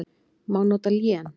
Má nota lén